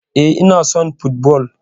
Eh, Ina son football